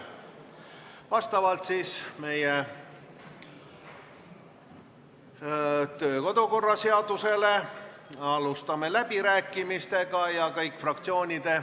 Vastavalt kodu- ja töökorra seadusele alustame läbirääkimisi.